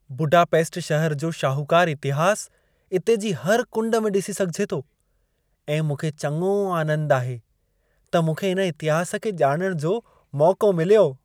Budapest शहरु जो शाहूकारु इतिहासु इते जी हर कुंड में डि॒सी सघिजे थो ऐं मूंखे चङो आनंद आहे, त मूंखे इन इतिहास खे ॼाणण जो मौक़ो मिलियो।